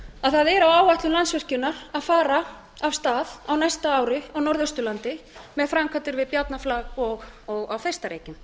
að það er á áætlun landsvirkjunar að fara af stað á næsta ári á norðausturlandi með framkvæmdir við bjarnarflag og á þeistareykjum